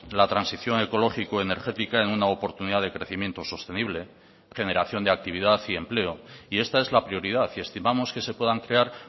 la transición ecológico energética en una oportunidad de crecimiento sostenible generación de actividad y empleo y esta es la prioridad y estimamos que se puedan crear